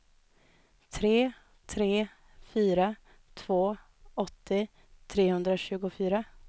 tre tre fyra två åttio trehundratjugofyra